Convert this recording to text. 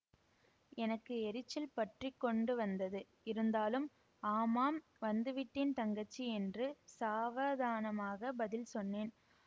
எனக்கு எரிச்சல் பற்றி கொண்டு வந்தது இருந்தாலும் ஆமாம் வந்துவிட்டேன் தங்கச்சி என்று சாவதானமாகப் பதில் சொன்னேன்